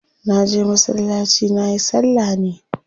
Na je masallaci nayi salla ne.